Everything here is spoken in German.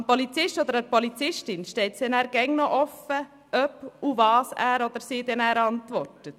Dem Polizisten oder der Polizistin steht es immer noch offen, ob und was er antwortet.